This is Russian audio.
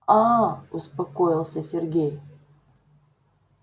аа успокоился сергей